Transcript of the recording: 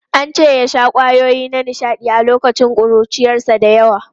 An ce ya sha kwayoyi na nishaɗi a lokacin ƙuruciyarsa da yawa.